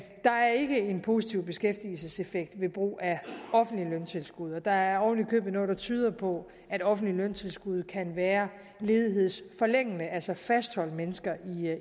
positiv beskæftigelseseffekt ved brug af offentlig løntilskud og der er oven i købet noget der tyder på at offentlige løntilskud kan være ledighedsforlængende altså kan fastholde mennesker